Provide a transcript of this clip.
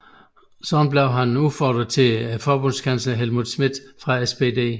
Dermed blev han udfordrer til Forbundskansler Helmut Schmidt fra SPD